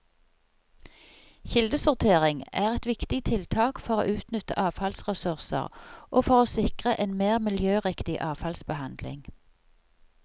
Kildesortering er et viktig tiltak for å utnytte avfallsressurser og for å sikre en mer miljøriktig avfallsbehandling.